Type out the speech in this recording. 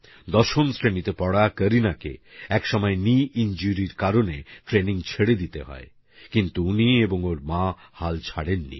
দশম শ্রেণীতে পড়া করিনাকে একসময় নি ইঞ্জুরি র কারনে ট্রেনিং ছেড়ে দিতে হয় কিন্তু উনি এবং ওঁর মা হাল ছাড়েননি